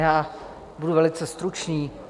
Já budu velice stručný.